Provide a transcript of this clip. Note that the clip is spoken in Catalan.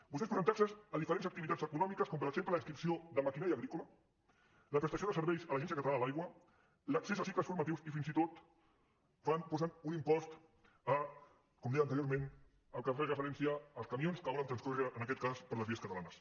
vostès posen taxes a diferents activitats econòmiques com per exemple la inscripció de maquinària agrícola la prestació de serveis a l’agència catalana de l’aigua l’accés a cicles formatius i fins i tot posen un impost com deia anteriorment el que fa referència als camions que volen transcórrer en aquest cas per les vies catalanes